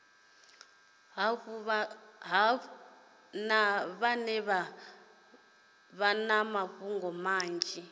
hafhu vha na mafhungo manzhi